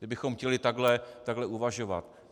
Kdybychom chtěli takhle uvažovat.